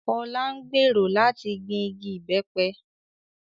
Ọlá ń gbèrò láti gbìn igi ìbẹ́pẹ